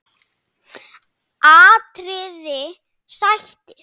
atriði: Sættir?